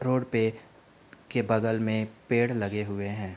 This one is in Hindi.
रोड पे के बगल में पेड़ लगे हुए हैं।